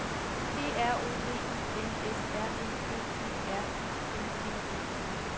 P R O V I N S R E G E R I N G E N